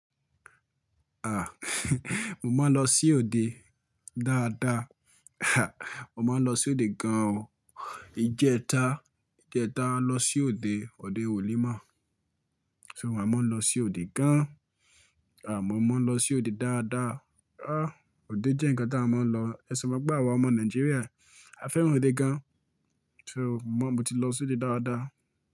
À, mo máa ń lọ sí òde dáadáa. Mo máa ń lọ sí òde gan o. Ijẹta, ijẹta à lọ sí òde, òde wòlimọ́. So, àmo ń lọ sí òde gan. Àmọ́ mo ń lọ sí òde dáadáa. Ah! Òde jẹ́ ǹkan tí a máa ń lọ. Ẹ̀sọ̀ pé, àwa ọmọ Nàìjíríà a fẹ́ràn òde gan. So, mo, mo ti lọ sí òde dáadáa.